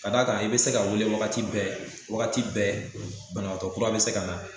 Ka d'a kan i bi se ka weele wagati bɛɛ wagati bɛɛ banabaatɔ kura bi se ka na